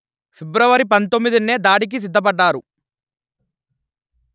ఫిబ్రవరి పందొమ్మిదినే దాడికి సిద్ధపడ్డారు